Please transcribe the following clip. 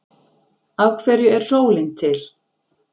af hverju er sólin til